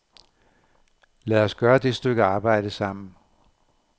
Lad os gøre det stykke arbejde sammen.